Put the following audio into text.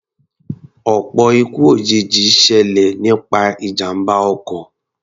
Ọ̀pọ̀ ikú òjijì ṣẹlẹ̀ nípa ìjàmbá ọkọ̀.